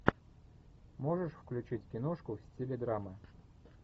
можешь включить киношку в стиле драмы